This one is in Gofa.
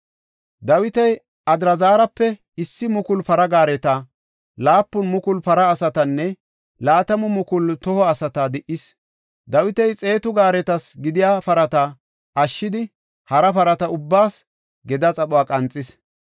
Dawiti Adraazarape issi mukulu para gaareta, laapun mukulu para asatanne laatamu mukulu toho asata di77is. Dawiti xeetu gaaretas gidiya parata ashshidi hara parata ubbaas gedaa xaphuwa qanxis.